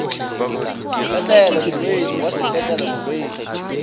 sepetlele molwetši wa sepetlele molwetši